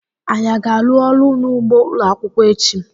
Anyị aga arụ ọrụ n'ugbó ụlọakwụkwọ echi?